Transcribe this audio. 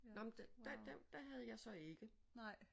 Nåh men det havde jeg så ikke